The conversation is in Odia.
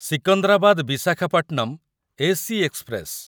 Secunderabad Visakhapatnam AC express